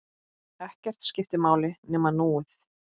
Ekkert skipti máli nema núið.